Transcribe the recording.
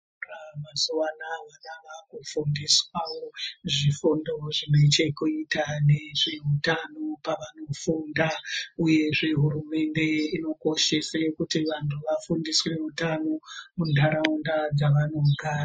Kuzvikora mazuva anoaya vana vava kufundiswa wo zvifundo zvinechokuita nezveutano pavanofunda uyezve hurumende inokoshesa kuti vantu vafundiswe utano mundaraunda dzavanogara.